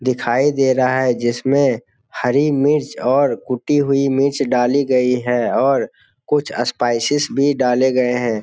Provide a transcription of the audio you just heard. दिखाई दे रहा है जिसमें हरी मिर्च और कुटी हुई मिर्च डाली गई है और कुछ स्पाइसेज भी डाले गए हैं।